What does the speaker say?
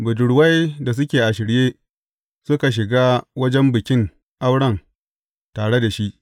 Budurwai da suke a shirye, suka shiga wajen bikin auren tare da shi.